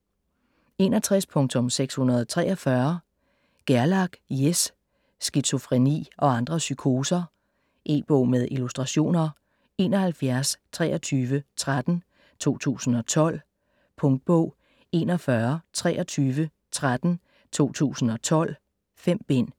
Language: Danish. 61.643 Gerlach, Jes: Skizofreni og andre psykoser E-bog med illustrationer 712313 2012. Punktbog 412313 2012. 5 bind.